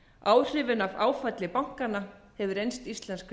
áhrifin af áfalli bankanna hefur reynst íslensku